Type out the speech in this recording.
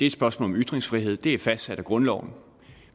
et spørgsmål om ytringsfrihed og det er fastsat af grundloven